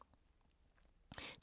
DR1